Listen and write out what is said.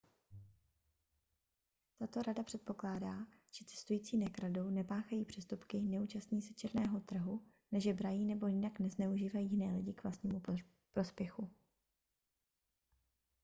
tato rada předpokládá že cestující nekradou nepáchají přestupky neúčastní se černého trhu nežebrají nebo jinak nezneužívají jiné lidi k vlastnímu prospěchu